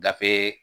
Gafe